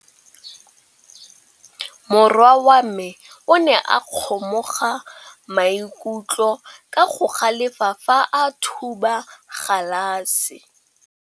Morwa wa me o ne a kgomoga maikutlo ka go galefa fa a thuba galase.